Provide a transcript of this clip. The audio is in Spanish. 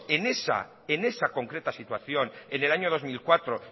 en esa concreta situación en el año dos mil cuatro